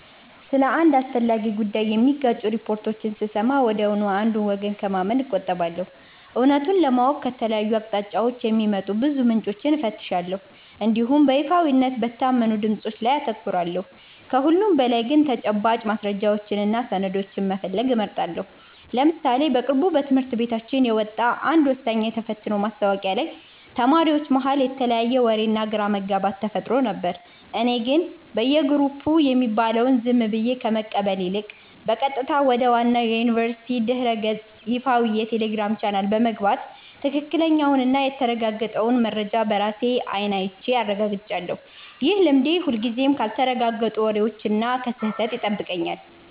ስለ አንድ አስፈላጊ ጉዳይ የሚጋጩ ሪፖርቶችን ስሰማ ወዲያውኑ አንዱን ወገን ከማመን እቆጠባለሁ። እውነቱን ለማወቅ ከተለያዩ አቅጣጫዎች የሚወጡ ብዙ ምንጮችን እፈትሻለሁ እንዲሁም በይፋዊና በታመኑ ድምፆች ላይ አተኩራለሁ። ከሁሉም በላይ ግን ተጨባጭ ማስረጃዎችንና ሰነዶችን መፈለግ እመርጣለሁ። ለምሳሌ በቅርቡ በትምህርት ቤታችን የወጣ አንድ ወሳኝ የተፈትኖ ማስታወቂያ ላይ ተማሪዎች መሃል የተለያየ ወሬና ግራ መጋባት ተፈጥሮ ነበር። እኔ ግን በየግሩፑ የሚባለውን ዝም ብዬ ከመቀበል ይልቅ፣ በቀጥታ ወደ ዋናው የዩኒቨርሲቲው ድረ-ገጽና ይፋዊ የቴሌግራም ቻናል በመግባት ትክክለኛውንና የተረጋገጠውን መረጃ በራሴ አይን አይቼ አረጋግጫለሁ። ይህ ልማዴ ሁልጊዜም ካልተረጋገጡ ወሬዎችና ከስህተት ይጠብቀኛል።